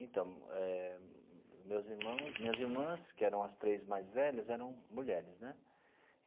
Então eh, meus irmãos, minhas irmãs, que eram as três mais velhas, eram mulheres, né?